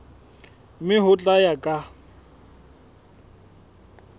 mme ho tla ya ka